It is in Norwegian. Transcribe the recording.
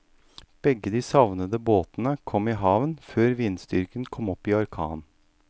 Begge de savnede båtene kom i havn før vindstyrken kom opp i orkan.